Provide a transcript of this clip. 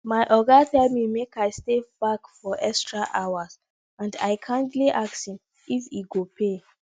my oga tell me make i stay back for extra hours and i kindly ask him if he go pay